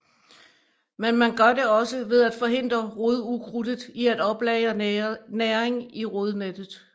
Men man gør det også ved at forhindre rodukrudtet i at oplagre næring i rodnettet